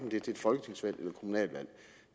et folketingsvalg